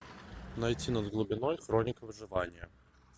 найти над глубиной хроника выживания